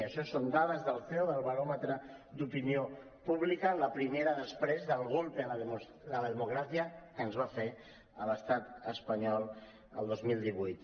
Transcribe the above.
això són dades del ceo del baròmetre d’opinió pública en la primera després del golpe a la democracia que ens va fer l’estat espanyol el dos mil divuit